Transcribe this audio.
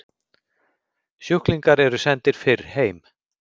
Sjúklingar eru sendir fyrr heim